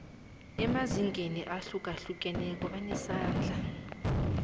emazingeni ahlukahlukeneko banesandla